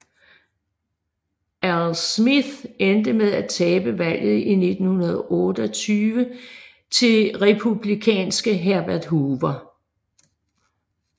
Al Smith endte med at tabe valget i 1928 til republikanske Herbert Hoover